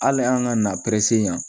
Hali an ka na yan